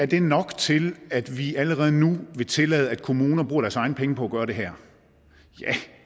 det er nok til at vi allerede nu vil tillade at kommunerne bruger deres egne penge på at gøre det her